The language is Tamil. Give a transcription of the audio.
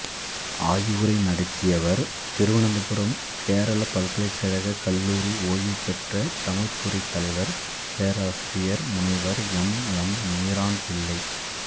ஆய்வுரை நடத்தியவர் திருவனந்தபுரம் கேரளப் பல்கலைக்கழகக் கல்லூரி ஓய்வுபெற்ற தமிழ்த்துறை தலைவர் பேராசிரியர் முனைவர் எம் எம் மீரான் பிள்ளை